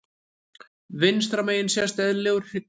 Vinstra megin sést eðlilegur hryggur.